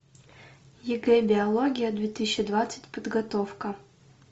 ег биология две тысячи двадцать подготовка